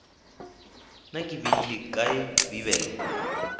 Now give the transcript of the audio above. na ke beile kae bibele